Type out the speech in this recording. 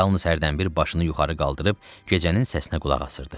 Yalnız hərdən bir başını yuxarı qaldırıb gecənin səsinə qulaq asırdı.